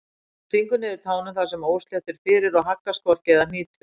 Hann stingur niður tánum þar sem óslétt er fyrir og haggast hvorki eða hnýtur.